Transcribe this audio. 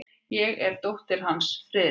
Ég er dóttir hans, Friðrik.